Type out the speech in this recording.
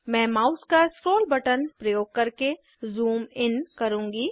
मैं माउस का scroll button प्रयोग करके ज़ूम इन करुँगी